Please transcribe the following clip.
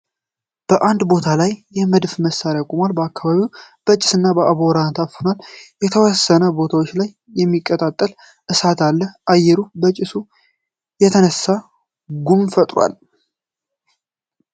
በአንድ ቦታ ላይ የመድፍ መሳሪያ ቆሟል። አካባቢውም በጭስ እና በአቧራ ታፍኗል። የተወሰነ ቦታዎች ላይ የሚቀጣጠል እሳት አለ። አየሩ በጭሱ የተነሳ ጉም ፈጥሯል።